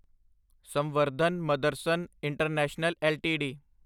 Samvardhana Motherson international LTD